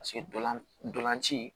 Paseke dolan ntolan ci